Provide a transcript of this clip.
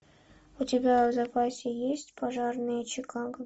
у тебя в запасе есть пожарные чикаго